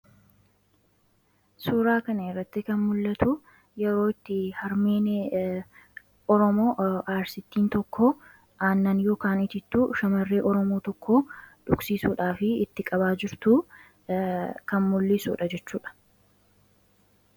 Suuraa kana irratti kan mul'atu yeroo itti harmeen Oromoo Arsittiin tokko aannan (Itittuu) shamarree Oromoo tokko dhugsiisuudhaaf itti qabaa jirtu kan mul'isu dha jechuu dha.